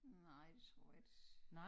Nej det tror jeg ikke